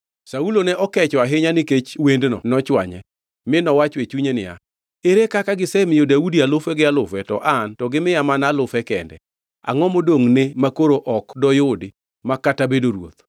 Saulo ne okecho ahinya nikech wendno nochwanye, mi nowacho e chunye niya, “Ere kaka gisemiyo Daudi alufe gi alufe; to an to gimiya mana alufe kende. Angʼo modongʼne makoro ok doyudi ma kata bedo ruoth?”